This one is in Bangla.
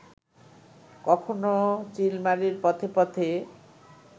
কখনো চিলমারির পথে পথে